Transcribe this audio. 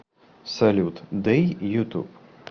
салют дэй ютуб